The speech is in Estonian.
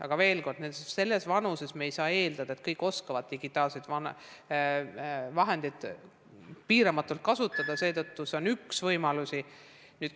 Aga veel kord: selles vanuses ei saa eeldada, et kõik oskavad digitaalseid vahendeid piiramatult kasutada, seetõttu on see üks võimalusi.